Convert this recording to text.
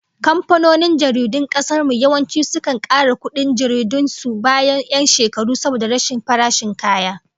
Kamfanonin jaridun kasar mu yawanci sukan kara kudin jaridun su bayan 'yan shekaru saboda rashin farashin kaya